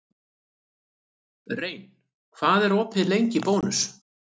Rein, hvað er opið lengi í Bónus?